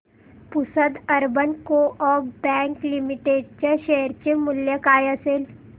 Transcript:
Pusad urban co-op bank limited च्या share चे मूल्य काय असेल